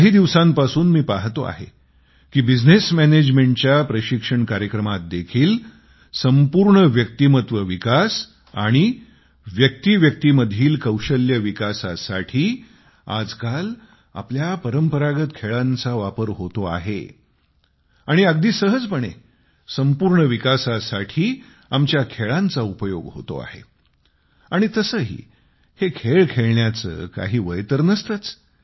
काही दिवसांपासून मी पाहतो आहे की बिझनेस मॅनेजमेंट च्या प्रशिक्षण कार्यक्रमात देखील संपूर्ण व्यक्तीमत्व विकास आणि व्यक्ती व्यक्तीमधील कौशल्य विकासासाठी आजकाल आपल्या परंपरागत खेळांचा वापर होतो आहे आणि अगदी सहजपणे संपूर्ण विकासासाठी आमच्या खेळांचा उपयोग होतो आहे आणि तसेही हे खेळ खेळण्याचे काही वय तर नसतेच